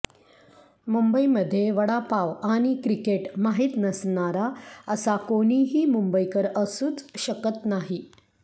मुंबईमध्ये वडापाव आणि क्रिकेट माहीत नसणारा असा कोणीही मुंबईकर असूच शकत नाही